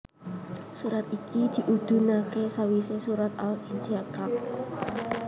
Surat iki diudhunake sawise surat Al Insyiqaq